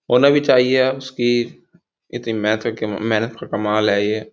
होना भी चाहिए उसकी इतनी मेहनत का मेहनत का कमाल है य।